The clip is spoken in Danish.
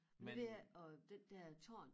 Men det er og den der tårn